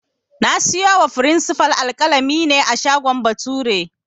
Na siyo wa frinsifal alƙalami ne a shagon Bature